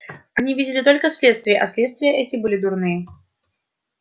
они видели только следствия а следствия эти были дурные